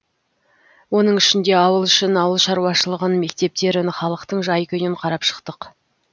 оның ішінде ауыл ішін ауыл шаруашылығын мектептерін халықтың жай күйін қарап шықтық